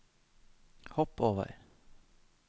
hopp over